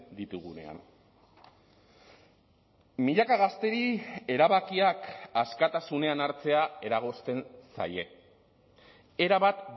ditugunean milaka gazteri erabakiak askatasunean hartzea eragozten zaie erabat